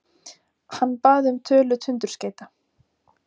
Hann bað um tölu tundurskeyta.